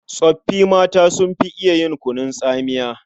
Tsoffi mata sun fi iya yin kunun tsamiya.